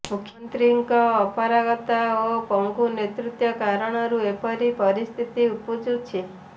ମୁଖ୍ୟମନ୍ତ୍ରୀଙ୍କ ଅପାରଗତା ଓ ପଙ୍ଗୁ ନେତୃତ୍ୱ କାରଣରୁ ଏପରି ପରିସ୍ଥିତି ଉପୁଜିଛି